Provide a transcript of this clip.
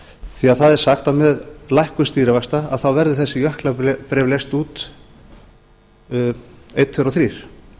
því það er sagt að með lækkun stýrivaxta verði þessi jöklabréf leyst út einn tveir og þrír